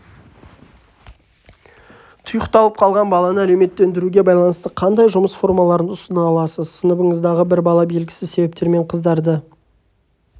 тұйықталып қалған баланы әлеуметтендіруге байланысты қандай жұмыс формаларын ұсына аласыз сыныбыңыздағы бір бала белгісіз себептермен қыздарды